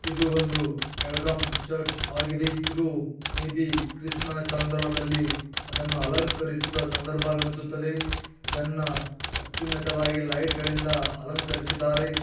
ಇದು ಒಂದು ಬೆಳಗಾಂ ಚೆರ್ಚ್ ಆಗಿದೆ ಇದು ಮೇ ಬಿ ಕ್ರಿಸ್ಮಸ್ ಸಂದರ್ಭದಲ್ಲಿ ಅದನ್ನು ಅಲಕರಿಸಿದ ಸಂದರ್ಭ ಎಂದು ಅನಿಸುತ್ತಿದೆ ಇದನ್ನ ಅತ್ಯುನತವಾಗಿ ಲೈಟ್ ಗಳಿಂದ ಅಲಂಕರಿಸಿದರೆ.